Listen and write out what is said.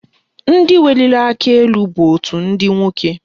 Ndị weliri aka elu bụ òtù ndị nwoke